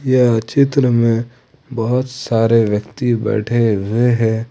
यह चित्र में बहुत सारे व्यक्ति बैठे हुए हैं।